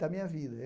da minha vida.